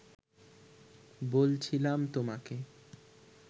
বলছিলাম তোমাকে